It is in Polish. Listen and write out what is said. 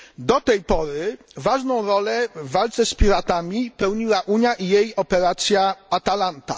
Do tej pory ważną rolę w walce z piratami pełniła Unia i jej operacja Atalanta.